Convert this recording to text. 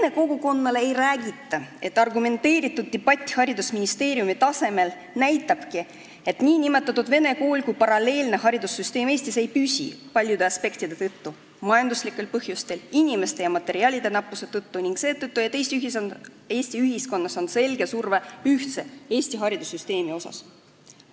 Vene kogukonnale ei räägita, et argumenteeritud debatt haridusministeeriumi tasemel näitabki, et nn vene kool kui paralleelne haridussüsteem Eestis ei püsi paljude aspektide tõttu: majanduslikel põhjustel, inimeste ja materjalide nappuse tõttu ning seetõttu, et Eesti ühiskonnas on selge surve ühtse, eesti haridussüsteemi suunas.